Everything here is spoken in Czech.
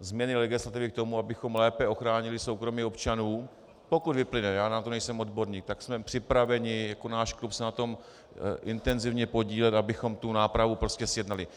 změny legislativy k tomu, abychom lépe ochránili soukromí občanů, pokud vyplyne, já na to nejsem odborník, tak jsme připraveni jako náš klub se na tom intenzivně podílet, abychom tu nápravu prostě zjednali.